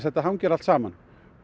þetta hangir allt saman